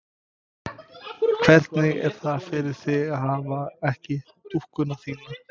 Hvernig er það fyrir þig að hafa ekki dúkkuna þína?